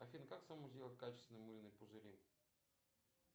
афина как самому сделать качественные мыльные пузыри